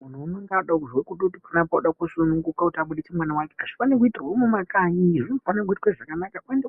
Munhu unenge wavakutozwa kuti panapa ode kusununguka kuti abudise mwana wake hazvifani itirwa mumakanyiyo zvinofana itwa zvakanaka oenda